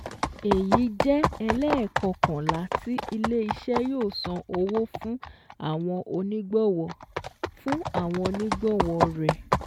Èyí jẹ́ ẹlẹ́ẹ̀kọkànlá tí ilé iṣẹ́ yóò san owó fún àwọn onígbọ̀wọ́ fún àwọn onígbọ̀wọ́ rẹ̀